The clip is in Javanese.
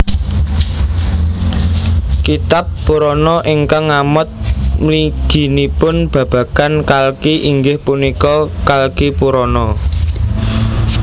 Kitab Purana ingkang ngamot mliginipun babagan Kalki inggih punika Kalkipurana